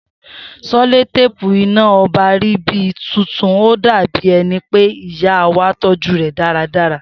Seloteepu iná ọba rí bíi tuntun ó dàbí ẹni pé ìyáwa tọ́jú rè dáradára